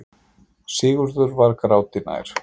Sigurður var gráti nær.